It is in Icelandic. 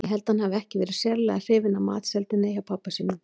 Ég held að hann hafi ekki verið sérlega hrifinn af matseldinni hjá pabba sínum.